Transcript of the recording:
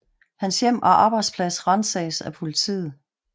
Hans hjem og arbejdsplads ransages af politiet